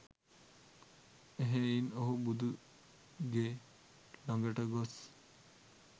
එහෙයින් ඔහු බුදු ගේ ලඟට ගොස්